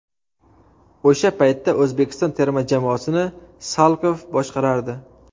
O‘sha paytda O‘zbekiston terma jamoasini Salkov boshqarardi.